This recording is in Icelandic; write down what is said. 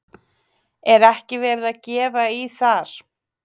Er ekki verið að gefa í þar?